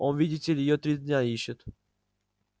он видите ли её три дня ищет